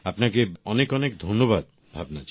আপনাকে অনেক অনেক ধন্যবাদ ভাবনা জি